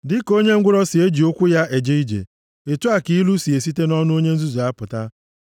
Dịka onye ngwụrọ si eji ụkwụ ya eje ije, otu a ka ilu si esite nʼọnụ onye nzuzu apụta.